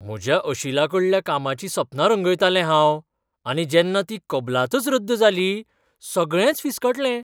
म्हज्या अशिलाकडल्या कामाचीं सपनां रंगयतालें हांव आनी जेन्ना ती कबलातच रद्द जाली, सगळेंच फिसकटलें.